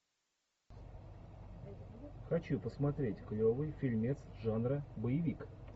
хочу посмотреть клевый фильмец жанра боевик